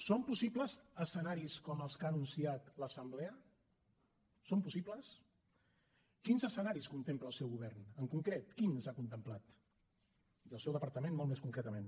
són possibles escenaris com els que ha anunciat l’assemblea són possibles quins escenaris contempla el seu govern en concret quins ha contemplat i el seu departament molt més concretament